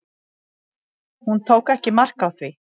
Hún tók ekki mark á því.